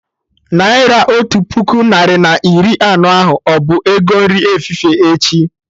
Naira otu puku narị na iri anọ ahụ, ọbụ ego nri efifie echi?